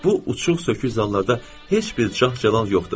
Bu, uçuq-sökük zallarda heç bir cah-cəlal yoxdur.